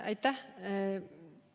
Aitäh!